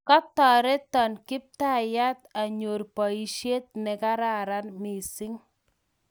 Katareton Kiptaiyat anyor poisyet ne kararan missing'